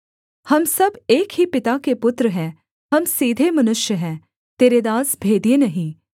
हम सब एक ही पिता के पुत्र हैं हम सीधे मनुष्य हैं तेरे दास भेदिए नहीं